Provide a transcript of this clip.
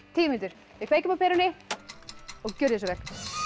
tíu mínútur við kveikjum á perunni og gjörið svo vel